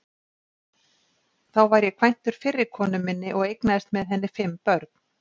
Þá var ég kvæntur fyrri konu minni og eignaðist með henni fimm börn.